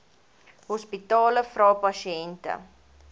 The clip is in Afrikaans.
hospitale vra pasiënte